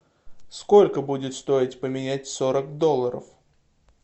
сколько будет стоить поменять сорок долларов